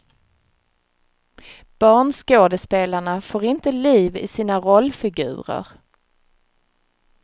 Barnskådespelarna får inte liv i sina rollfigurer.